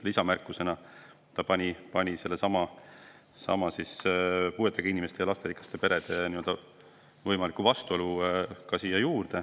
Lisamärkusena ta pani siia juurde sellesama võimaliku puuetega inimesi ja lasterikkaid peresid puudutava vastuolu.